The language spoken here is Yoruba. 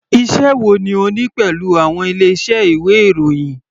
Iṣẹ́ wo ni o ní pẹ̀lú àwọn ilé iṣẹ́ ìwé ìròyìn.